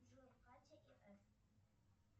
джой катя и ф